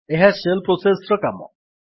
ଏହା shell process ର କାମ